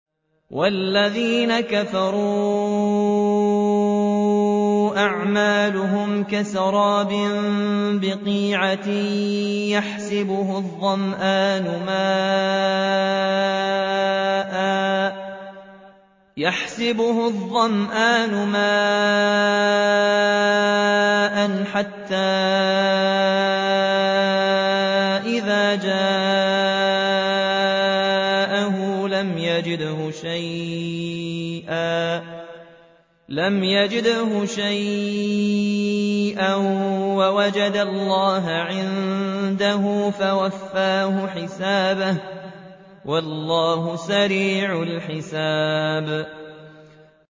وَالَّذِينَ كَفَرُوا أَعْمَالُهُمْ كَسَرَابٍ بِقِيعَةٍ يَحْسَبُهُ الظَّمْآنُ مَاءً حَتَّىٰ إِذَا جَاءَهُ لَمْ يَجِدْهُ شَيْئًا وَوَجَدَ اللَّهَ عِندَهُ فَوَفَّاهُ حِسَابَهُ ۗ وَاللَّهُ سَرِيعُ الْحِسَابِ